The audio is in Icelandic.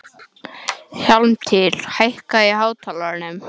Hjálmtýr, hækkaðu í hátalaranum.